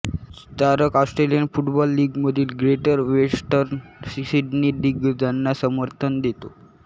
स्टारक Australian football लीगमधील Greater Western Sydney दिग्गजांना समर्थन देतो